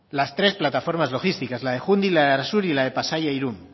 las tres plataformas logísticas la de jundiz la de arasur y la de pasaia irun